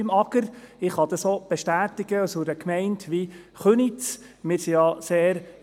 Ich kann das auch vonseiten der Gemeinde Köniz bestätigen.